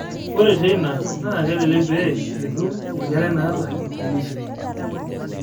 ore teina, naa kelelek pee itum Enkerai naata deletion.